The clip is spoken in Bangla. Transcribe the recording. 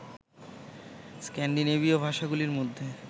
স্ক্যান্ডিনেভীয় ভাষাগুলির মধ্যে